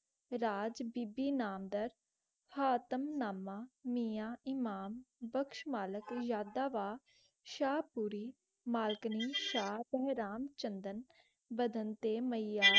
राज बीबी नंदर हातम नामा मियां इमाम बख्श मालिक शाहब पूरी मलकनि पंग्राम चंदम भागम मैया.